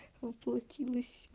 воплотилась